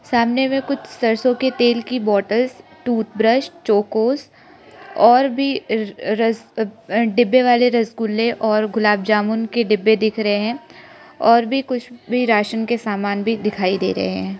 सामने में कुछ सरसों के तेल की बोतल टूथब्रश चौकस और भी डिब्बे वाले रसगुल्ले और गुलाब जामुन के डब्बे दिख रहे हैं और भी कुछ भी राशन के सामान भी दिखाई दे रहे हैं।